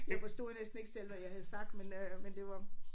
Jeg forstod næsten ikke selv hvad jeg havde sagt men øh men det var